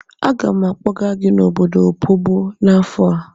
Aga m akpọga gị n'obodo Opobo n'afọ a.